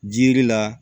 Jiri la